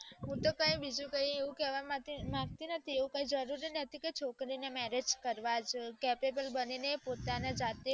હું તો કાય બીજું કાય એવું કેવા નથીજ માંગતી ને એવું કાઈ જરૂરી નથી કે છોકરી ને marriage કરવાજ જોઈએ capable બનીને પોતાના જાતે